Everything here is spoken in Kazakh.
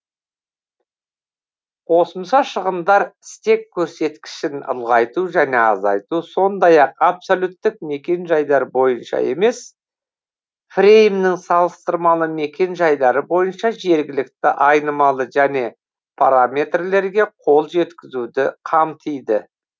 қосымша шығындар стек көрсеткішін ұлғайту және азайту сондай ақ абсолюттік мекен жайлар бойынша емес фреймнің салыстырмалы мекен жайлары бойынша жергілікті айнымалы және параметрлерге қол жеткізуді қамтиды